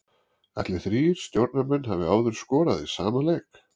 Ætli þrír stjórnarmenn hafi áður skorað í sama leik?